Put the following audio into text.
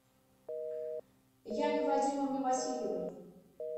яне вадимовне васильевой